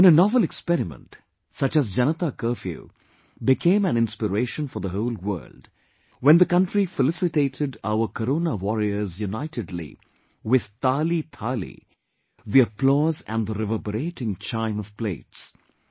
When a novel experiment such as Janta curfew became an inspiration for the whole world, when the country felicitated our corona warriors unitedly with Taalithali, the applause and the reverberating chime of plates...